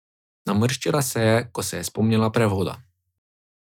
Namrščila se je, ko se je spomnila prevoda.